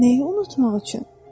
Nəyi unutmaq üçün?